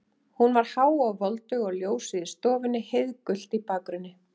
Hún var há og voldug og ljósið í stofunni heiðgult í bakgrunni.